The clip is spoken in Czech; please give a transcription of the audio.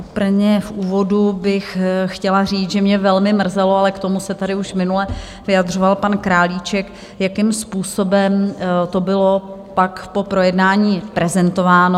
Úplně v úvodu bych chtěla říct, že mě velmi mrzelo, ale k tomu se tady už minule vyjadřoval pan Králíček, jakým způsobem to bylo pak po projednání prezentováno.